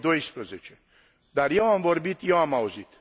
2012. Dar eu am vorbit, eu am auzit.